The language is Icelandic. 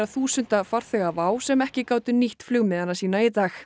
þúsunda farþega WOW sem ekki gátu nýtt flugmiða sína í dag